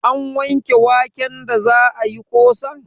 An wanke waken da za ayi ƙosan?